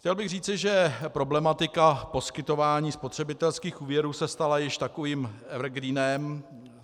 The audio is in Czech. Chtěl bych říci, že problematika poskytování spotřebitelských úvěrů se stala již takovým evergreenem.